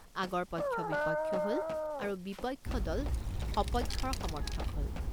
আগৰ পক্ষ বিপক্ষ হল আৰু বিপক্ষ দল স্বপক্ষৰ সমৰ্থক হল।